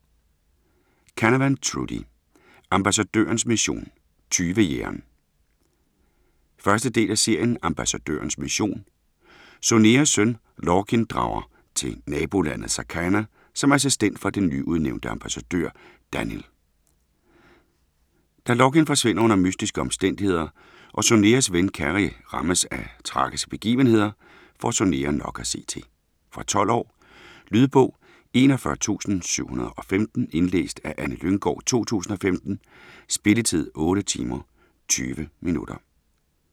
Canavan, Trudi: Ambassadørens mission - tyvejægeren 1. del af serien Ambassadørens mission. Soneas søn, Lorkin, drager til nabolandet Sarkana som assistent for den nyudnævnte ambassadør, Dannyl. Da Lorkin forsvinder under mystiske omstændigheder, og Soneas ven Cery rammes af tragiske begivenheder, får Sonea nok at se til. Fra 12 år. Lydbog 41715 Indlæst af Anne Lynggård, 2015. Spilletid: 8 timer, 20 minutter.